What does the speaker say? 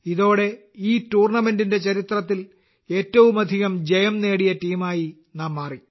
ഇതോടെ ഈ ടൂർണമെന്റിന്റെ ചരിത്രത്തിൽ ഏറ്റവുമധികം ജയം നേടിയ ടീമായി നാം മാറി